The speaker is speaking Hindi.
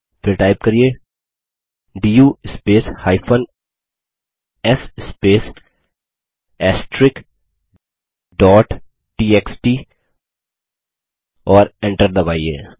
फिर टाइप करिये do space s space TXT और enter दबाइए